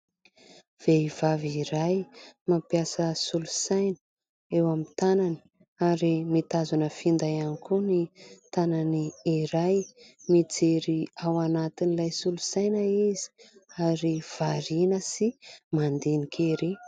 Vehivavy iray mampiasa solosaina eo amin'ny tanany ary mitazona finday ihany koa ny tanany iray, mijery ao anatin'ilay solosaina izy ary variana sy mandinika ery.